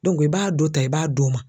i b'a dɔ ta i b'a d'o ma.